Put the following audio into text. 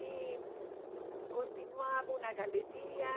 E continuava uma galeria.